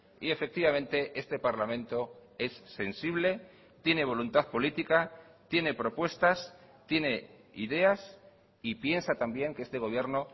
y efectivamente este parlamento es sensible tiene voluntad política tiene propuestas tiene ideas y piensa también que este gobierno